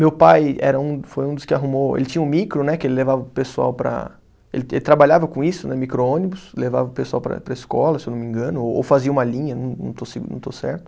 Meu pai era um, foi um dos que arrumou, ele tinha um micro né, que ele levava o pessoal para. Ele trabalhava com isso né, micro-ônibus, levava o pessoal para ir para a escola, se eu não me engano, ou ou fazia uma linha, não não estou se, não estou certo.